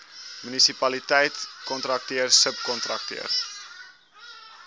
munisipaliteit kontrakteur subkontrakteur